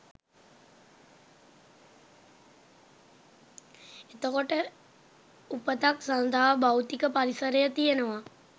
එතකොට උපතක් සඳහා භෞතික පරිසරය තියෙනවා